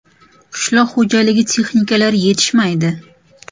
Qishloq xo‘jaligi texnikalari yetishmaydi.